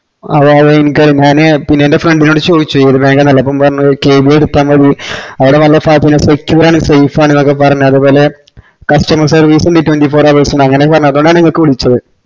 അതായത് ഇന്ക്ക് ഞാന് പിന്നെ എൻ്റെ friend നോട് ചോയ്ച്ചു അപ്പൊ പറഞ്ഞത് കെ വി ബി എടത്തമതി അവിടെ നല്ല secure ആണ് safe ആണെന്നൊക്കെ പറഞ്ഞ് അത്പോലെ customer service ഇൻഡ് twnety four hours ഇൻഡ് അങ്ങനെഒക്കെ പറഞ്ഞ് അപ്പൊളാണ് ഇങ്ങൾക്ക് വിളിച്ചത്